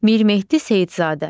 Mir Mehdi Seyidzadə.